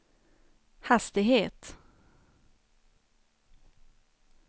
hastighet